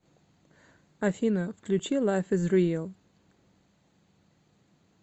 афина включи лайф из риал